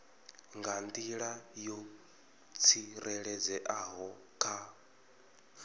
nga nḓila yo tsireledzeaho kha